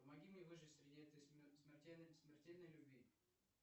помоги мне выжить среди этой смертельной любви